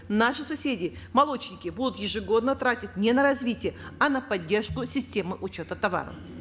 наши соседи молочники будут ежегодно тратить не на развитие а на поддержку системы учета товаров